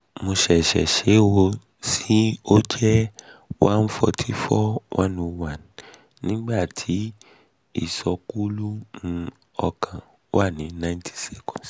mo ṣẹṣẹ ṣe e ó um sì sọ jẹ́ 144/101 nígbà tí ìsọkúlú um ọkàn wà ní 90s